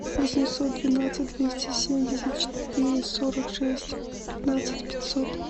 восемьсот двенадцать двести семьдесят четыре сорок шесть пятнадцать пятьсот